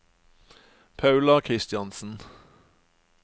Paula Kristiansen